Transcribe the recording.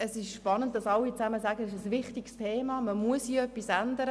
Es ist spannend, dass alle sagen, es sei ein wichtiges Thema, und man müsse hier etwas ändern.